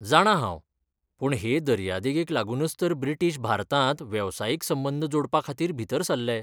जाणा हांव, पूण हे दर्यादगेक लागूनच तर ब्रिटीश भारतांत वेवसायीक संबंद जोडपाखातीर भितर सरले.